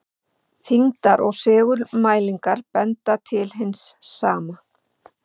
Þyngdar- og segulmælingar benda til hins sama.